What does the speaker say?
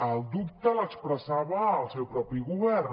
el dubte l’expressava el seu propi govern